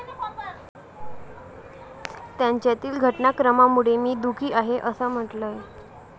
त्यांच्यातील घटनाक्रमामुळे मी दुःखी आहे' असं म्हटलंय.